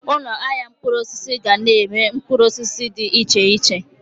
Ụlọ ahịa mkpụrụ osisi ga-na ere mkpụrụ osisi dị iche iche